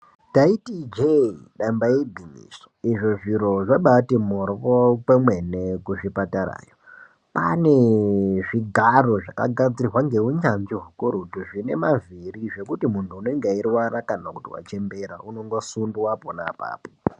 Taiti ijee damba igwinyiso izvo zviro zvabati moryo kwemene kuzvipatarayo. Kwane zvigaro zvakagadzirwa ngeunyanzvi hukurutu zvine mavhiri zvekuti muntu unenge eirwara kana kuti vachembera unongosundwa pona apapo.